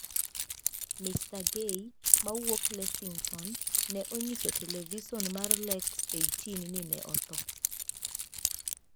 Mr. Gay, mawuok Lexington, ne onyiso televison mar Lex 18 ni ne otho.